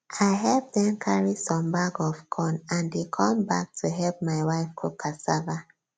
i help them carry some bag of corn and they come back to help my wife cook cassava